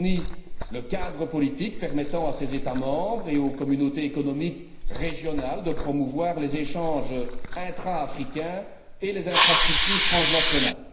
Elle fournit le cadre politique permettant à ses États membres et aux communautés économiques régionales de promouvoir les échanges intra africains et les infrastructures transnationales.